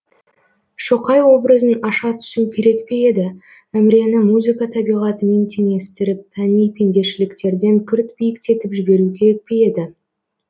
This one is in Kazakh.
шоқай образын аша түсу керек пе еді әмірені музыка табиғатымен теңестіріп пәни пендешіліктерден күрт биіктетіп жіберу керек пе еді